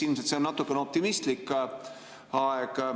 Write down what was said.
Ilmselt on see natuke optimistlik.